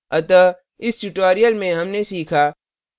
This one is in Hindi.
अतः इस tutorial में हमने सीखा